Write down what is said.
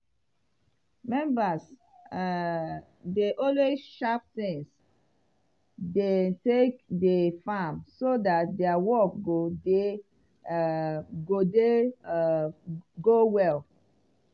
members um dey always sharp tins dem take dey farm so dat dia work go dey um go dey um go well.